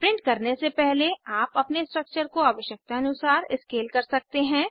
print करने से पहले आप अपने स्ट्रक्चर को आवश्यकतानुसार स्केल कर सकते हैं